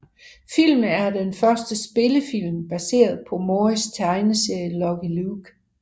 Filmen er den første spillefilm baseret på Morris tegneserie Lucky Luke